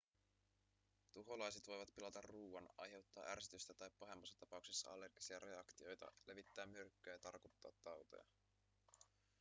tuholaiset voivat pilata ruoan aiheuttaa ärsytystä tai pahemmassa tapauksessa allergisia reaktioita levittää myrkkyä ja tartuttaa tauteja